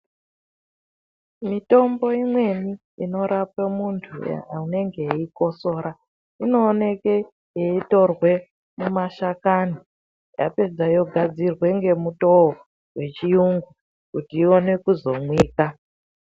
Mitombo imweni inorape muntu aneneg eikosoro inooneke yeitorwe mumashakani yapedza yogadzirwe ngemutoo wechirungu kuti ione kuzomwika.